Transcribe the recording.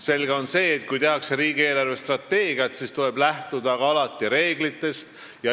Selge on see, et kui tehakse riigi eelarvestrateegiat, siis tuleb alati lähtuda reeglitest.